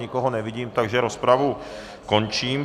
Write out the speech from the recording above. Nikoho nevidím, takže rozpravu končím.